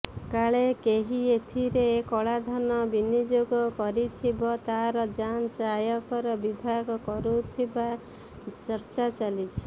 କାଳେ କେହି ଏଥିରେ କଳାଧନ ବିନିଯୋଗ କରିଥିବ ତାର ଯାଞ୍ଚ ଆୟକର ବିଭାଗ କରୁଥିବା ଚର୍ଚ୍ଚା ଚାଲିଛି